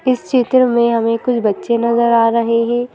इस चित्र में हमें कुछ बच्चे नजर आ रहे है।